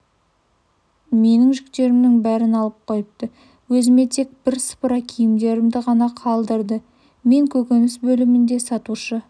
менің жүктерімнің бәрін алып қойыпты өзіме тек бір сыпыра киімдерімді ғана қалдырды мен көкөніс бөлімінде сатушы